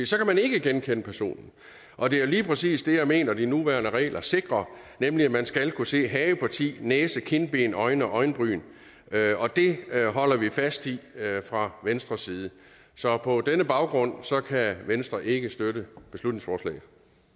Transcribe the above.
så kan man ikke genkende personen og det er lige præcis det jeg mener de nuværende regler sikrer nemlig at man skal kunne se hageparti næse kindben øjne og øjenbryn og det holder vi fast i fra venstres side så på denne baggrund kan venstre ikke støtte beslutningsforslaget